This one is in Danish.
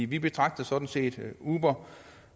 vi betragter sådan set uber